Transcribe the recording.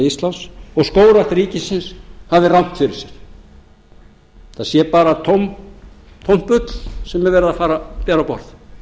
íslands og skógrækt ríkisins hafi rangt fyrir sér það sé bara tómt bull sem er verið að fara að bera á borð